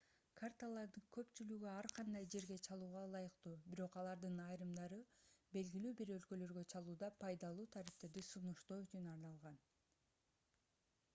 карталардын көпчүлүгү ар кандай жерге чалууга ылайыктуу бирок алардын айрымдары белгилүү бир өлкөлөргө чалууда пайдалуу тарифтерди сунуштоо үчүн арналган